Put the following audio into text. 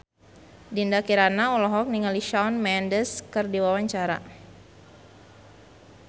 Dinda Kirana olohok ningali Shawn Mendes keur diwawancara